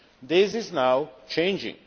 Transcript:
This is now changing.